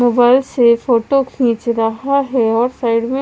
वह से फोटो खींच रहा है और साइड में--